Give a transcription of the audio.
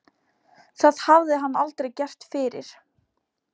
Það hafði hann aldrei gert fyrr.